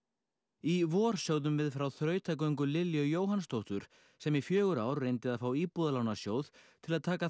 í vor sögðum við frá þrautagöngu Lilju Jóhannsdóttur sem í fjögur ár reyndi að fá Íbúðalánasjóð til að taka